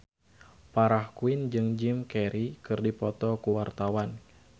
Farah Quinn jeung Jim Carey keur dipoto ku wartawan